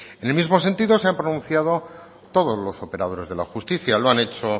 en el mismo sentido se han pronunciado todo los operadores de la justicia lo han hecho